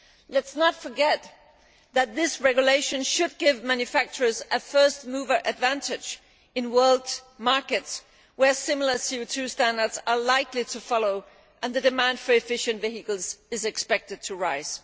Let us not forget that this regulation should give manufacturers a first mover advantage in world markets where similar CO 2 standards are likely to follow and the demand for efficient vehicles is expected to rise.